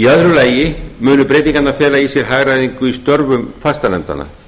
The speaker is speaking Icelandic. í öðru lagi munu breytingarnar fela í sér hagræðingu í störfum fastanefndanna